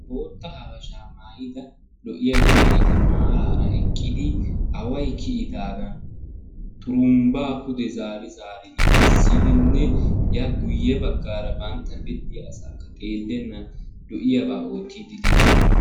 Bootta habasha maayida lo"iya yelagati maarara eqqidi away kiyidaagan xurumbbaa pude zaari zaaridi essidinne ya guuyye baggaara bantta biddiya asaakka xeellennan lo"iyaba oottiddi diishin.